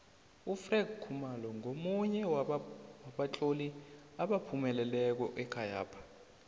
ufred khumalo ngomunye wabatloli abaphumeleleko ekhayapha